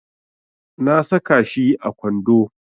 Na saka shi a kwando.